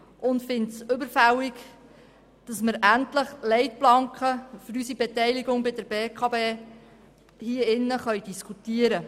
Wir finden es überfällig, endlich Leitplanken für die Beteiligung an der BKW zu diskutieren.